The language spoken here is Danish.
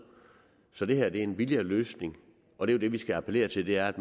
så det her er en billigere løsning og det vi skal appellere til er at